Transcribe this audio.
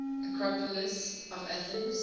acropolis of athens